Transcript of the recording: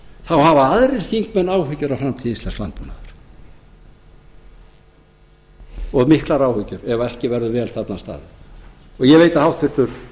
þá hafa aðrir þingmenn áhyggjur af framtíð íslensks landbúnaðar og miklar áhyggjur ef ekki verður vel þarna að staðið ég veit að háttvirtur